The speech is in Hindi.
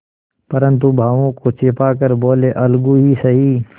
परंतु भावों को छिपा कर बोलेअलगू ही सही